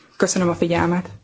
Köszönöm a figyelmet.